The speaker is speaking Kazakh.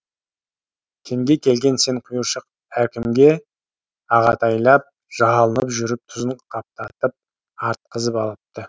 кенге келген сен құйыршық әркімге ағатайлап жалынып жүріп тұзын қаптатып артқызып алыпты